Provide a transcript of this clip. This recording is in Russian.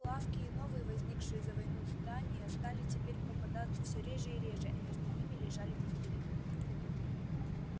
лавки и новые возникшие за войну здания стали теперь попадаться все реже и реже а между ними лежали пустыри